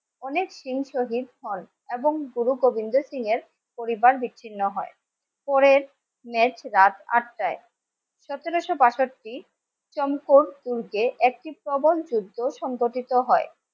অনেক সিং শহিদ হন এবং গুরু গোবিন্দ সিং এর পরিবার বিচ্ছিন্ন হয় পরের next রাত আটটায় সতেরশো-বাষট্টি জন ফোর্স স্কুলকে একটি প্রবল যুদ্ধ সংগঠিত হয়